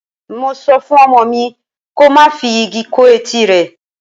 Mo sọ fún ọmọ mi ko má fi igi kó etí rẹ.